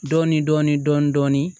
Dɔɔnin dɔɔnin dɔɔnin dɔɔnin